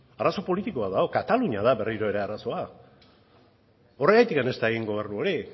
arazo politiko bat dago katalunia da berriro ere arazoa horregatik ez da egin gobernu hori